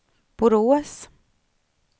Borås